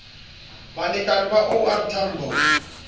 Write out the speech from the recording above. balekane ba o r tambo